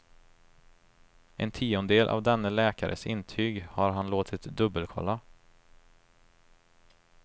En tiondel av denne läkares intyg har han låtit dubbelkolla.